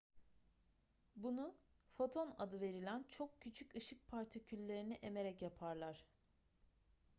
bunu foton adı verilen çok küçük ışık partiküllerini emerek yaparlar